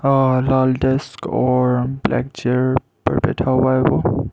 और लाल डेस्क और ब्लैक चेयर पर बैठा हुआ है वो।